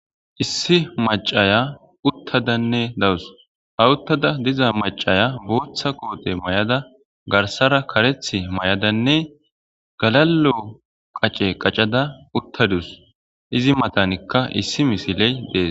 Issi mac'aya utadanne dawus ha utada diya mac'aya bota kote mayada garsara kareti mayadane galalo qac'e qac'ada utadus izi matanika issi missile des.